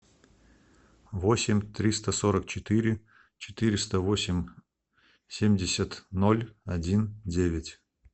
восемь триста сорок четыре четыреста восемь семьдесят ноль один девять